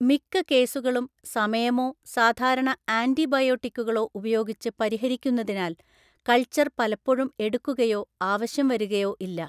മിക്ക കേസുകളും സമയമോ സാധാരണ ആൻറിബയോട്ടിക്കുകളോ ഉപയോഗിച്ച് പരിഹരിക്കുന്നതിനാൽ കൾച്ചർ പലപ്പോഴും എടുക്കുകയോ ആവശ്യം വരുകയോ ഇല്ല.